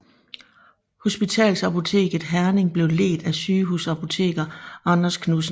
Hospitalsapoteket Herning blev ledt af sygehusapoteker Anders Knudsen